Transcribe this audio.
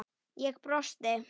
Ég brosti.